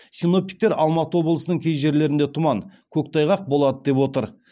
синоптиктер алматы облысының кей жерлерінде тұман көктайғақ болады деп отыр